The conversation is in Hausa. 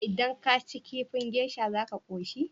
Idan kaci kifin geisha za ka koshi?